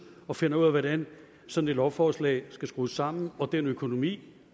og finder ud af hvordan sådan et lovforslag skal skrues sammen og den økonomi